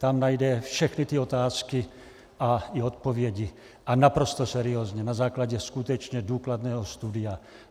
Tam najde všechny ty otázky a i odpovědi, a naprosto seriózně, na základě skutečně důkladného studia.